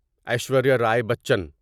Aishwarya Rai Bachchan